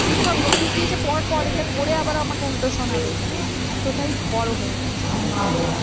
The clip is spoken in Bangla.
কি সব notice দিয়েছে পরপর এইদা পড়ে আবার আমাকে উল্টো শোনাবে। মানে এতটাই বড় হয়ে গেছে।